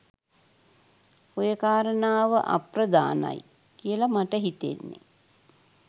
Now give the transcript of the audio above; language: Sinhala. ඔය කාරණාව අප්‍රධානයි කියල මට හිතෙන්නෙ.